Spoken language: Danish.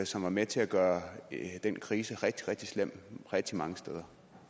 som var med til at gøre den krise rigtig rigtig slem rigtig mange steder